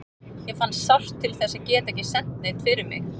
Ég fann sárt til þess að geta ekki sent neinn fyrir mig.